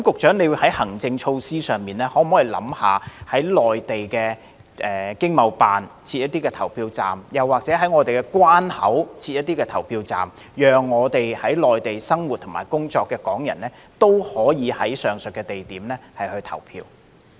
在行政措施上，局長可否考慮在駐內地的經濟貿易辦事處設立一些投票站，又或者在我們的關口設立一些投票站，讓在內地生活和工作的港人也可以在上述地點投票？